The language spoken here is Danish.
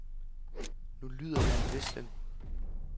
Nu lyder der en hvislen.